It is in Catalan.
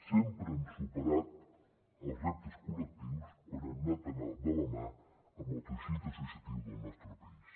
sempre hem superat els reptes col·lectius quan hem anat de la mà amb el teixit associatiu del nostre país